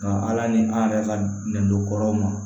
Nka ala ni an yɛrɛ ka nɛndokɔrɔw ma